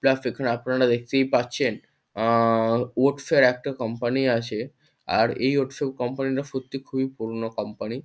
Just এখানে আপনারা দেখতেই পাচ্ছেন আ ওটস -এর একটা কোম্পানি আছে। আর এই ওটস -এর কোম্পানি -টা সত্যি খুবই পুরোনো কোম্পানি ।